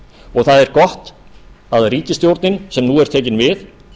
og það er gott að ríkisstjórnin sem nú er tekin við